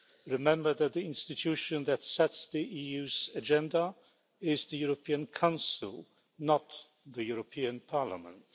Remember that the institution that sets the EU's agenda is the European Council, not the European Parliament.